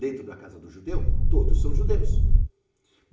Dentro da casa do judeu, todos são judeus.